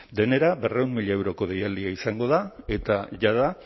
denera berrehun mila euroko deialdia izango da eta jada